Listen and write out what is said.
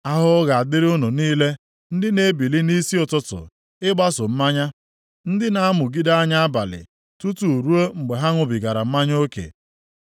Ahụhụ ga-adịrị unu niile ndị na-ebili nʼisi ụtụtụ ịgbaso mmanya. Ndị na-amụgide anya abalị tutu ruo mgbe ha ṅụbigara mmanya oke.